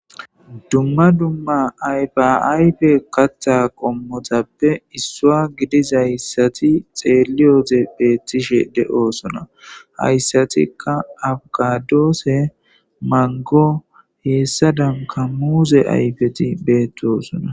dumma dumma ayfa ayfe katha qommotappe issuwa gidizayssati xeeliyode beettishe de'osona, hayssatika abokadoose mango heessadanka muuze ayfeti beettosona